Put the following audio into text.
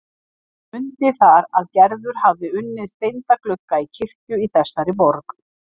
Mundi þar að Gerður hafði unnið steinda glugga í kirkju í þessari borg.